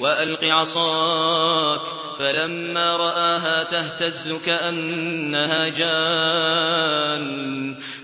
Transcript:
وَأَلْقِ عَصَاكَ ۚ فَلَمَّا رَآهَا تَهْتَزُّ